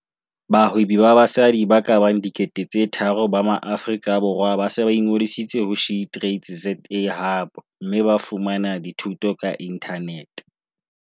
Bahwebi ba basadi ba ka bang 3 000 ba Maaforika Borwa ba se ba ingodisitse ho SheTradesZA Hub mme ba fumana dithuto ka inthanete.